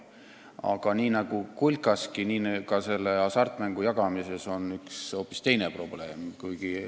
Aga nii nagu kulkaski, on ka selle hasartmänguraha jagamisel üks hoopis teine probleem.